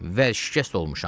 və şikəst olmuşam.